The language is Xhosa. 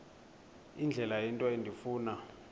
indlela into endifuna